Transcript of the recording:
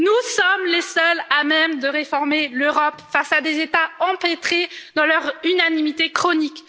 Nous sommes les seuls à même de réformer l'Europe face à des États empêtrés dans leur unanimité chronique.